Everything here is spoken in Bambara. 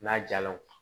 N'a jala o